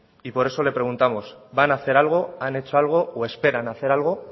y por eso le preguntamos van a hacer algo han hecho algo o esperan hacer algo